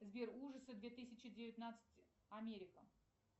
сбер ужасы две тысячи девятнадцать америка